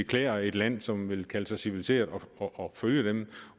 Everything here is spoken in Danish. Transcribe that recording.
klæder et land som vil kalde sig civiliseret at følge dem